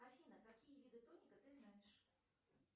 афина какие виды тоника ты знаешь